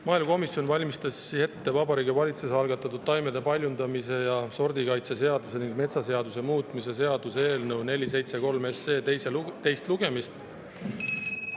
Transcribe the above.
Maaelukomisjon valmistas ette Vabariigi Valitsuse algatatud taimede paljundamise ja sordikaitse seaduse ning metsaseaduse muutmise seaduse eelnõu 473 teist lugemist.